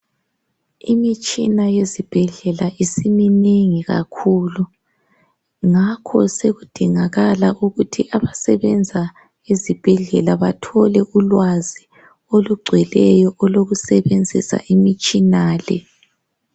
Imitshina yezibhedleka isiminengi kakhulu. Ngakho sekudingakala ukuthi abasebenza ezibhedlela bathole ulwazi olugcweleyo olokusebenzisa imitshina le